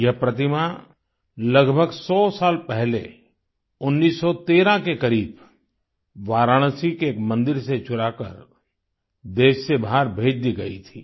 यह प्रतिमा लगभग 100 साल पहले 1913 के करीब वाराणसी के एक मंदिर से चुराकर देश से बाहर भेज दी गयी थी